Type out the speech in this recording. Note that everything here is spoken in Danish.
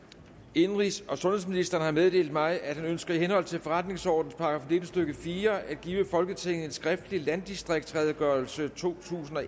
indenrigs og sundhedsministeren har meddelt mig at han ønsker i henhold til forretningsordenens § nitten stykke fire at give folketinget en skriftlig landdistriktsredegørelse totusinde og